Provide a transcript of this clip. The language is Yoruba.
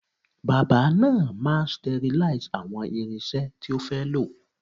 Bábà náà máa sterlize àwọn irinṣẹ́ tí ó fẹ́ lò.